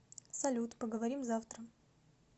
салют поговорим завтра